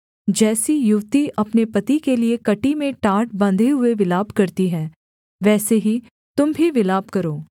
जैसे युवती अपने पति के लिये कमर में टाट बाँधे हुए विलाप करती है वैसे ही तुम भी विलाप करो